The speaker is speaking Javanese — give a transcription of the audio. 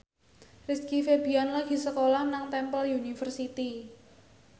Rizky Febian lagi sekolah nang Temple University